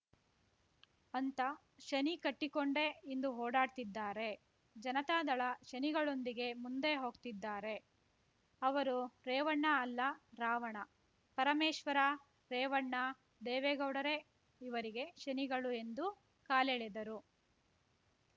ಅಂತ ಶನಿ ಕಟ್ಟಿಕೊಂಡೇ ಇಂದು ಓಡಾಡ್ತಿದ್ದಾರೆ ಜನತಾದಳ ಶನಿಗಳೊಂದಿಗೆ ಮುಂದೆ ಹೋಗ್ತಿದ್ದಾರೆ ಅವರು ರೇವಣ್ಣ ಅಲ್ಲ ರಾವಣ ಪರಮೇಶ್ವರ ರೇವಣ್ಣ ದೇವೇಗೌಡರೇ ಇವರಿಗೆ ಶನಿಗಳು ಎಂದು ಕಾಲೆಳೆದರು